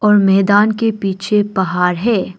और मैदान के पीछे पहाड़ है।